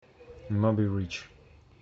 моби рич